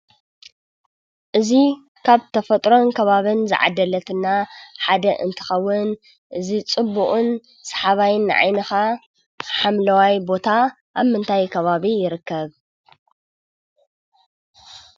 እዚ ካብ ተፈጥሮን ከባብን ዝዓደለትና ሓደ እንትኸውን እዚ ፅቡቕን ሰሓባይን ንዓይንኻ ሓምለዋይ ቦታ ኣብ ምንታይ ከባቢ ይርከብ?